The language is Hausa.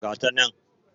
Ga ta nan.